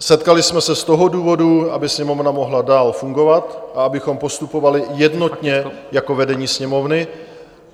Setkali jsme se z toho důvodu, aby Sněmovna mohla dál fungovat a abychom postupovali jednotně jako vedení Sněmovny.